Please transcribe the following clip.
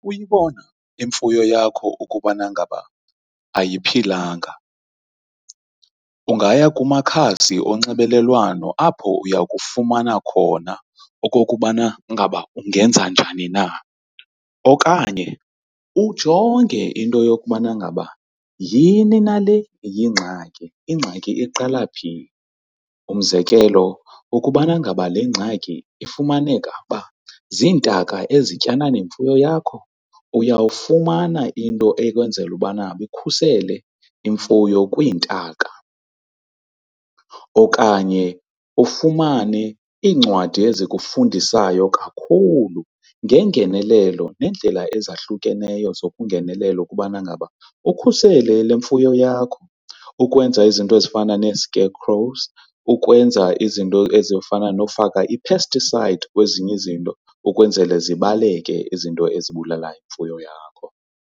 Uyibona imfuyo yakho ukubana ngaba ayiphilanga ungaya kumakhadzi onxibelelwano apho uya kufumana khona okokubana ngaba ungenza njani na. Okanye ujonge into yokubana ngaba yhini nale iyingxaki ingxaki iqala phi. Umzekelo, ukubana ngaba le ngxaki ifumaneka uba ziintaka ezityana nemfuyo yakho, uyawufumana into ekwenzela ubana ukhusele imfuyo kwiintaka, okanye ufumane iincwadi ezikufundisayo kakhulu ngengenelelo neendlela ezahlukeneyo zokungenelela ukubana ngaba ukhusele le mfuyo yakho. Ukwenza izinto ezifana nee-scarecrows ukwenza izinto ezifana nokufaka ii-pesticides kwezinye izinto ukwenzele zibaleke izinto ezibulala imfuyo yakho.